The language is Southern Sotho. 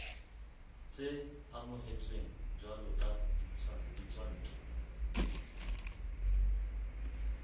tse amohetsweng jwalo ka ditswantle